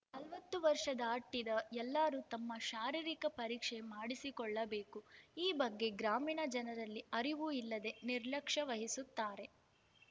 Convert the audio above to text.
ನಲವತ್ತು ವರ್ಷ ದಾಟಿದ ಎಲ್ಲರೂ ತಮ್ಮ ಶಾರೀರಿಕ ಪರೀಕ್ಷೆ ಮಾಡಿಸಿಕೊಳ್ಳಬೇಕು ಈ ಬಗ್ಗೆ ಗ್ರಾಮೀಣ ಜನರಲ್ಲಿ ಅರಿವು ಇಲ್ಲದೆ ನಿರ್ಲಕ್ಷ ವಹಿಸುತ್ತಾರೆ